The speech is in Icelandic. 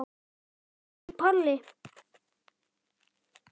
Siggi Palli.